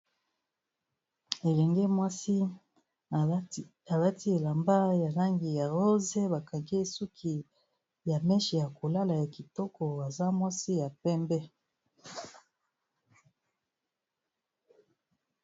Elenge mwasi alati elamba ya langi ya rose, ba kangi ye suki ya meche ya kolala ya kitoko aza mwasi ya pembe.